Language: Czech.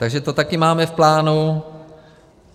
Takže to taky máme v plánu.